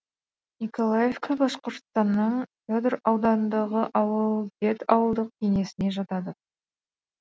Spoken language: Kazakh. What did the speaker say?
николаевка башқұртстанның федор ауданындағы ауыл дед ауылдық кеңесіне жатады